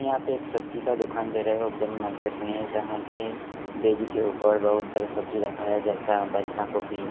यहां पे एक सब्जी का दुकान दे रहा है ओपेन मार्केट में यहां पे बेड़ी के ऊपर बहुत सारे सब्जी रखा है जैसा बध्धा गोभी--